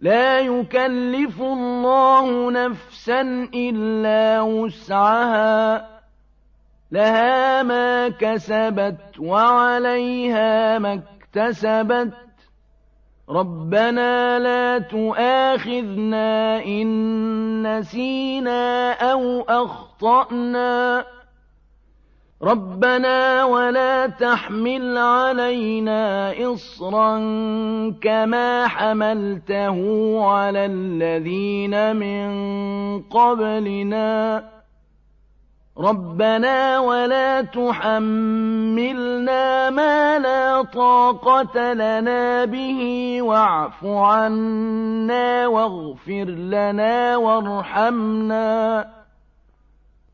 لَا يُكَلِّفُ اللَّهُ نَفْسًا إِلَّا وُسْعَهَا ۚ لَهَا مَا كَسَبَتْ وَعَلَيْهَا مَا اكْتَسَبَتْ ۗ رَبَّنَا لَا تُؤَاخِذْنَا إِن نَّسِينَا أَوْ أَخْطَأْنَا ۚ رَبَّنَا وَلَا تَحْمِلْ عَلَيْنَا إِصْرًا كَمَا حَمَلْتَهُ عَلَى الَّذِينَ مِن قَبْلِنَا ۚ رَبَّنَا وَلَا تُحَمِّلْنَا مَا لَا طَاقَةَ لَنَا بِهِ ۖ وَاعْفُ عَنَّا وَاغْفِرْ لَنَا وَارْحَمْنَا ۚ